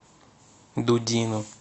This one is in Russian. дудину